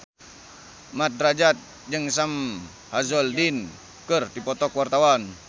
Mat Drajat jeung Sam Hazeldine keur dipoto ku wartawan